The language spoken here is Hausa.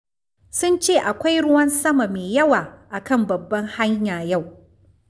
Sun ce akwai ruwan sama mai yawa a kan babbar hanya yau.